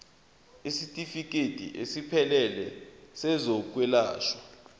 isitifikedi esiphelele sezokwelashwa